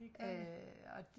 det gør det